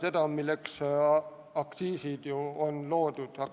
Aga milleks üldse aktsiisid on loodud?